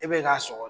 E bɛ k'a sɔ